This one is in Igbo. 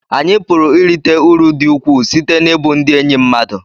anyị pụrụ irite uru dị ukwuu site n'ịbụ ndị enyi mmadụ